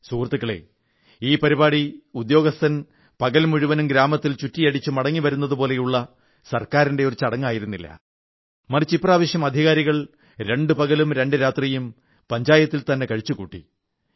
സുഹൃത്തുക്കളെ ഈ പരിപാടി ഉദ്യോഗസ്ഥൻ പകൽ മുഴുവനും ഗ്രാമത്തിൽ ചുറ്റിയടിച്ച് മടങ്ങിവരുന്നതുപോലുള്ള ഗവൺമെന്റിന്റെ ചടങ്ങായിരുന്നില്ല മറിച്ച് ഇപ്രാവശ്യം അധികാരികൾ രണ്ടു പകലും ഒരു രാത്രിയും പഞ്ചായത്തിൽത്തന്നെ കഴിച്ചുകൂട്ടി